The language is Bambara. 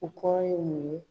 U kɔrɔ ye mun ye ?